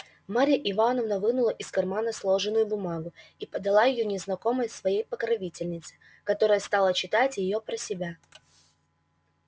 марья ивановна вынула из кармана сложенную бумагу и подала её незнакомой своей покровительнице которая стала читать её про себя